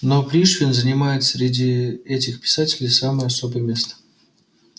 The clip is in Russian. но пришвин занимает среди этих писателей самое особое место